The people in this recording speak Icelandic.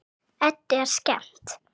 Eddu er skemmt.